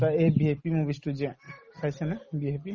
এটা এই VIP movies তো যে চাইছানে vip